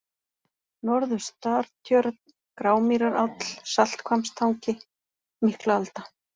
Norður-Startjörn, Grámýraráll, Salthvammstangi, Miklaalda